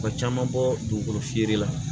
Ka caman bɔ dugukolo feere la